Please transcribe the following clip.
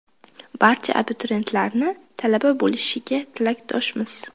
Barcha abituriyentlarni talaba bo‘lishiga tilakdoshmiz!